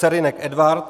Serynek Edvard